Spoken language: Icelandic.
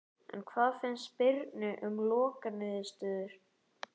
En hvað fannst Birni um lokaniðurstöðuna?